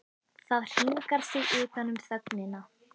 Það hringar sig utan um þögnina.